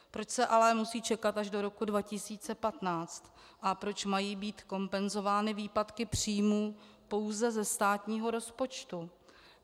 Proč se ale musí čekat až do roku 2015 a proč mají být kompenzovány výpadky příjmů pouze ze státního rozpočtu?